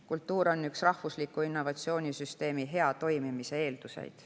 Kultuur on üks rahvusliku innovatsioonisüsteemi hea toimimise eelduseid.